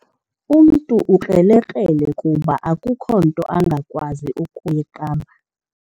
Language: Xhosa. Umntu ukrelekrele kuba akukho nto angakwazi ukuyiqamba.